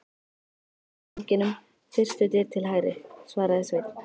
Inn af ganginum, fyrstu dyr til hægri, svaraði Sveinn.